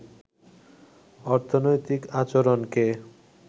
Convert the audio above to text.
অর্থনৈতিক আচরণকে